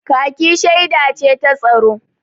kaki sheda ce ta tsaro